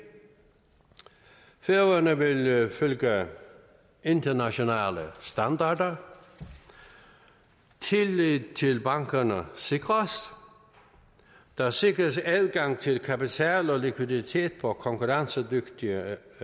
færøerne vil følge internationale standarder tillid til bankerne sikres der sikres adgang til kapital og likviditet på konkurrencedygtige